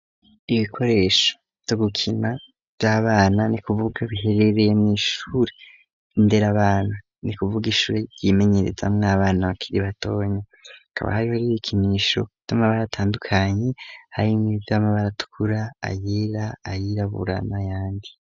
Ibikoresho togukina by'abana ni kuvuga biherereye mu ishuri indere abana ni kuvuga ishuri ryimenyereza mw abana bakiri batonye kaba hari hari ibikinisho kitama baratandukanye hari mitama baratkura ayera ayirabura n'ayandi.